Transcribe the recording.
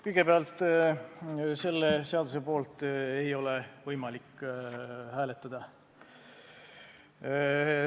Kõigepealt, selle seaduse poolt ei ole võimalik hääletada.